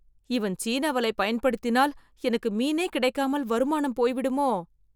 இவன் சீன வலை பயன்படுத்தினால், எனக்கு மீனே கிடைக்காமல் வருமானம் போய்விடுமோ..